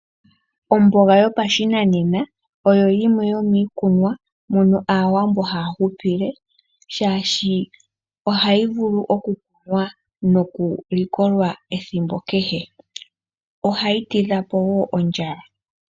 Omboga yopashinanena oyo yimwe yomiikunwa mono Aawambo haa hupile, shaashi ohayi vulu okukunwa nokulikolwa ethimbo kehe. Ohayi tidha po wo ondjala.